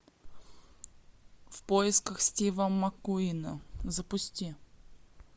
в поисках стива маккуина запусти